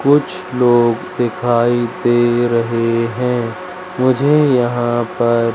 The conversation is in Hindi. कुछ लोग दिखाई दे रहें हैं मुझे यहाँ पर--